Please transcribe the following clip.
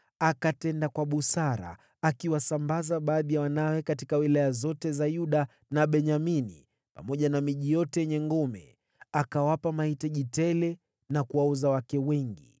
Akatenda kwa busara, akiwasambaza baadhi ya wanawe katika wilaya zote za Yuda na Benyamini, pamoja na miji yote yenye ngome. Akawapa mahitaji tele na kuwaoza wake wengi.